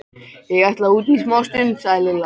Ég ætla út í smástund, sagði Lilla.